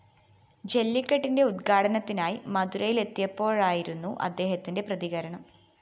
ജെല്ലിക്കെട്ടിന്റെ ഉദ്ഘാടനത്തിനായി മധുരയിലെത്തിയപ്പോഴായിരുന്നു അദ്ദേഹത്തിന്റെ പ്രതികരണം